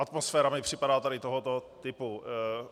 Atmosféra mi připadá tady tohoto typu.